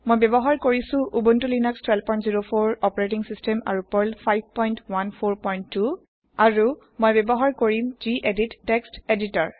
মই ব্যৱহাৰ কৰিছো উবুনটো লিনাস1204 অপাৰেতিং সিস্টেম আৰু পাৰ্ল 5142 আৰু মই ব্যৱহাৰ কৰিম গেদিত টেক্সট এডিটৰ